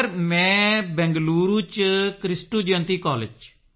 sir ਮੈਂ ਬੰਗਲੁਰੂ ਵਿੱਚ Kristu Jayanti college ਵਿੱਚ